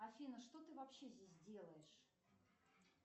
афина что ты вообще здесь делаешь